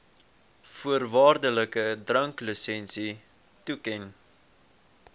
voorwaardelike dranklisensie toeken